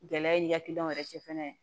Gɛlɛya ni hakilinaw yɛrɛ cɛ fana